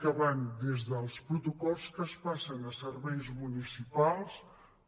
que van des dels protocols que es passen a serveis municipals